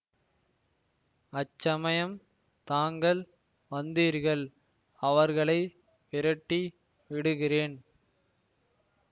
அச்சமயம் தாங்கள் வந்தீர்கள் அவர்களை விரட்டி விடுகிறேன்